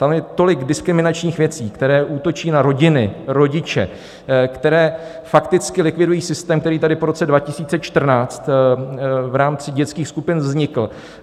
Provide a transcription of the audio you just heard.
Tam je tolik diskriminačních věcí, které útočí na rodiny, rodiče, které fakticky likvidují systém, který tady po roce 2014 v rámci dětských skupin vznikl.